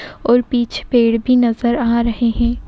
और पीछे पेड़ भी नजर आ रहे हैं।